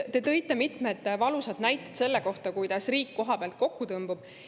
Te tõite mitmeid valusaid näiteid selle kohta, kuidas riik kohapeal kokku tõmbub.